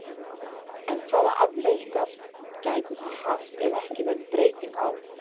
En hvaða afleiðingar gætu það haft ef ekki verður breyting á?